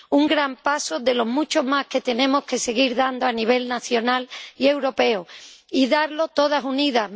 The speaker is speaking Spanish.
un gran paso de los muchos más que tenemos que seguir dando a nivel nacional y europeo y darlo todas unidas.